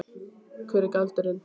Hver er galdurinn?